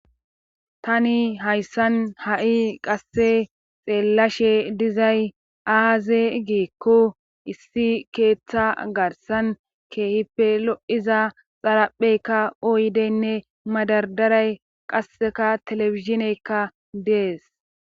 Tani hayssan ha'i qasse xeellashe dizay aaze geekko issi keeththa garsan keehipe lo'iza xalapheykka ooydeynne madardaray qasseka telefishineykka dees.